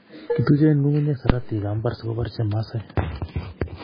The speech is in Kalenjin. Kituchen ng'ungunyek saratikab mbar sikobar chemasai.